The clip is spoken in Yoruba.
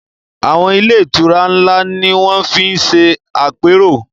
Àwọn ilé-ìtura ńlá ni wọ́n fi ń ṣe àpérò.